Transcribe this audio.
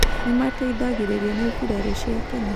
Nĩ mateithagĩrĩrio nĩ birarũ cia Kenya.